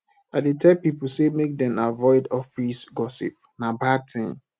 i dey tell pipo sey make dem avoid office gossip na bad tin